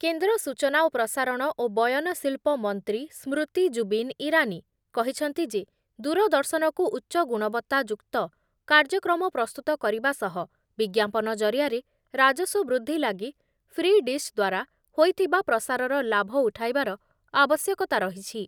କେନ୍ଦ୍ର ସୂଚନା ଏବଂ ପ୍ରସାରଣ ଓ ବୟନ ଶିଳ୍ପ ମନ୍ତ୍ରୀ ସ୍ମୃତି ଜୁବିନ ଇରାନୀ କହିଛନ୍ତି ଯେ ଦୂରଦର୍ଶନକୁ ଉଚ୍ଚ ଗୁଣବତ୍ତା ଯୁକ୍ତ କାର୍ଯ୍ୟକ୍ରମ ପ୍ରସ୍ତୁତ କରିବା ସହ ବିଜ୍ଞାପନ ଜରିଆରେ ରାଜସ୍ଵ ବୃଦ୍ଧି ଲାଗି ଫ୍ରି ଡିଶ ଦ୍ଵାରା ହୋଇଥିବା ପ୍ରସାରର ଲାଭ ଉଠାଇବାର ଆବଶ୍ୟକ‌ତା ରହିଛି